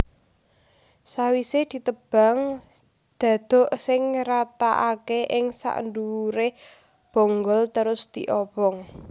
Sawisé ditebang dhadhuk sing rataaké ing sakndhuwuré bonggol terus diobong